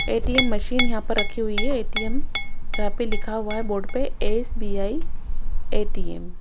ATM machine यहां पर रखी हुई है ए_टी_एम जहां पे लिखा हुआ है बोर्ड पे एस_बी_आई ए_टी_एम ।